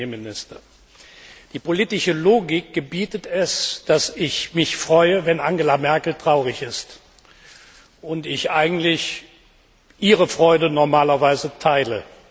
Herr Premierminister, die politische Logik gebietet es, dass ich mich freue, wenn Angela Merkel traurig ist, und ich eigentlich Ihre Freude normalerweise teile.